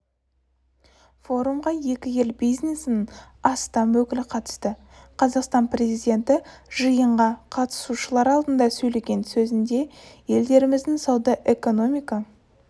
формуға екі ел бизнесінің астам өкілі қатысты қазақстан президенті жиынға қатысушылар алдында сөйлеген сөзінде елдеріміздің сауда-экономика